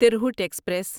Tirhut express